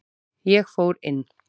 Ég fór inn.